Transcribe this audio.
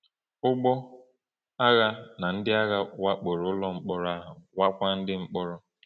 Ụgbọ agha na ndị agha wakporo ụlọ mkpọrọ ahụ, wakwa ndị mkpọrọ.